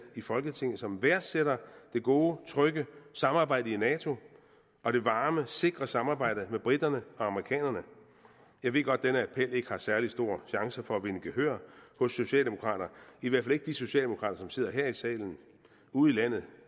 i folketinget som værdsætter det gode trygge samarbejde i nato og det varme sikre samarbejde med briterne og amerikanerne jeg ved godt at denne appel ikke har særlig store chancer for at vinde gehør hos socialdemokraterne i hvert fald ikke de socialdemokrater som sidder her i salen ude i landet